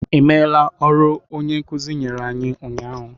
Ị mela ọrụ onye nkuzi nyere anyị ụnyahụ?